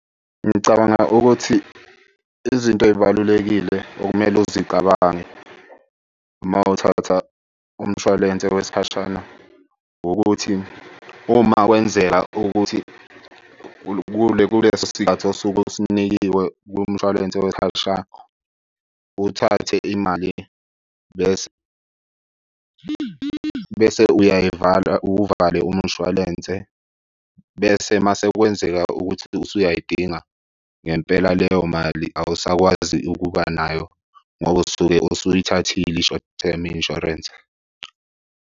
Ngicabanga ukuthi izinto ey'balulekile okumele uzicabange uma uthatha umshwalense wesikhashana ukuthi uma kwenzeka ukuthi kuleso sikhathi osuke usinikiwe kumshwalense , uthathe imali bese, bese uyayivala uwuvale umshwalense. Bese uma sekwenzeka ukuthi ususayidinga ngempela leyo mali awusakwazi ukuba nayo ngoba usuke usuyithathile i-short term Insurance.